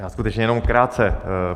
Já skutečně jenom krátce.